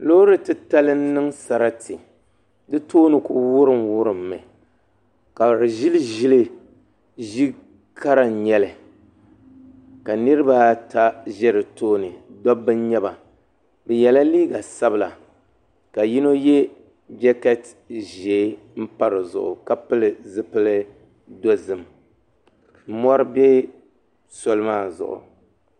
Loori titali n niŋ sarati di tooni ku wurim wurimmi ka di ʒiri ʒili ʒi kara n nyɛli ka niraba ata ʒɛ di tooni dabba n nyɛba bi yɛla liiga sabila ka yino yɛ jɛkɛt ʒiɛ n pa dizuɣu ka pili zipili dozim mɔri bɛ soli maa zuɣu